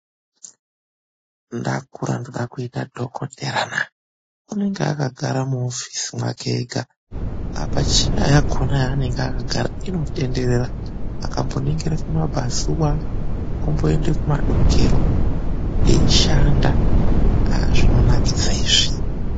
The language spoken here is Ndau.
NDAKURA NDODA KUITA DHOKOTERA NAA! UNENGE AKAGARA MUOFFICE MWAKEEGA APA CHEYA YAKONA AYAANENGE AKAGARA INOTENDERERA AKAMBONINGIRA KUMABVAZUVA ONINGIRA KUMADOKERO EISHANDA AAAH ZVINONAKIDZA IZVI.